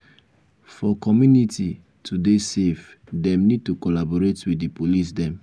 for community to dey safe dem need to collaborate with di police dem